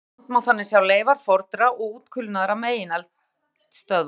Víða um land má þannig sjá leifar fornra og útkulnaðra megineldstöðva.